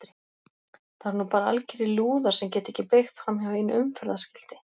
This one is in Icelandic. Það eru nú bara algerir lúðar sem geta ekki beygt framhjá einu umferðarskilti!